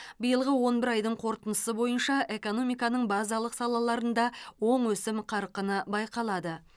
биылғы он бір айдың қорытындысы бойынша экономиканың базалық салаларында оң өсім қарқыны байқалады